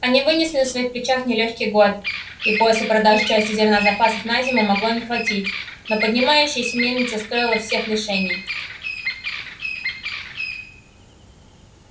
они вынесли на своих плечах нелёгкий год и после продажи части зерна запасов на зиму могло не хватить но поднимающаяся мельница стоила всех лишений